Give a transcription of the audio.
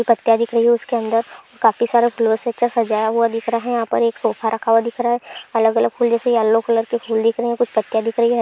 उसके अंदर काफी सारे कलर से सजाया हुआ दिख रहा है यहाँ पर एक सोफा रखा हुआ दिख रहा है अलग-अलग से फुल जैसे अलग अलग फूल दिख रहे है कुछ दिख रही --